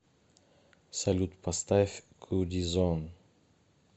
салют поставь куди зон